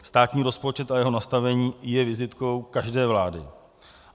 Státní rozpočet a jeho nastavení je vizitkou každé vlády.